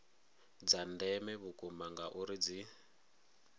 dza ndeme vhukuma ngauri dzi